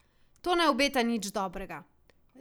To ne obeta nič dobrega.